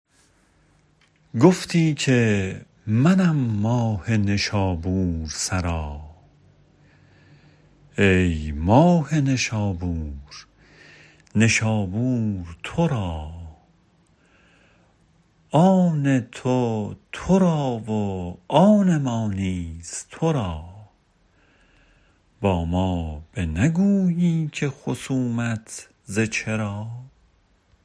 گفتی که منم ماه نشابور سرا ای ماه نشابور نشابور تو را آن تو تو را و آن ما نیز تو را با ما بنگویی که خصومت ز چرا